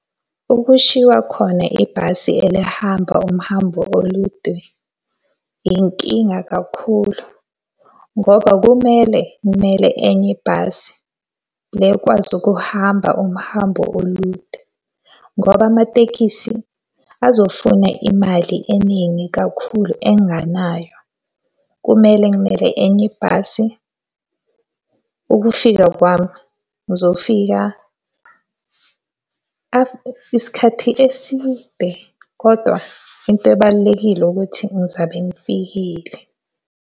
Ukushiwa khona ibhasi elihamba umhambo olude, inkinga kakhulu, ngoba kumele ngimele enye ibhasi le ekwazi ukuhamba umhambo olude. Ngoba amatekisi azofuna imali eningi kakhulu enginganayo. Kumele ngimele enye ibhasi. Ukufika kwami ngizofika isikhathi eside kodwa into ebalulekile ukuthi ngizabe ngifikile.